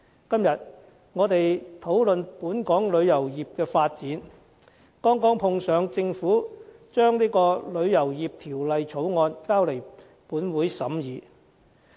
今天，我們討論本港旅遊業的發展，剛好碰上政府把《旅遊業條例草案》提交本會審議。